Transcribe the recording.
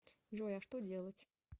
джой а что делать